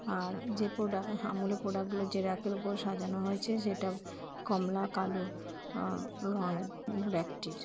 আর যে প্রোডাক্ট আমুল -এর প্রোডাক্ট গুলো যে র‍্যাক -এর উপরে সাজানো হয়েছে সেটা কমলা কালো আ- রঙ র‍্যাক -টির ।